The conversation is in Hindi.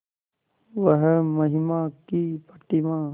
वह महिमा की प्रतिमा